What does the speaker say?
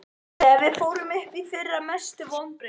Þegar við fórum upp í fyrra Mestu vonbrigði?